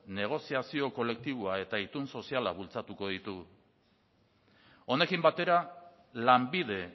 negoziazio kolektiboa eta itun soziala bultzatuko ditugu honekin batera lanbide